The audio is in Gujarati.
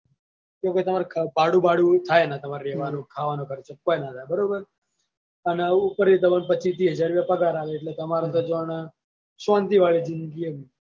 તો પછીતમારે ભાડું ભાડું થાય ના તમારે રેવાનું ખાવાનો ખર્ચો કોય ના થાય બરોબર અને ઉપર એ તમને પચીસ તીસ હજાર પગાર આલે એટલે તમાર તો જોણે શાંતિ વાળી જીંદગી એમ.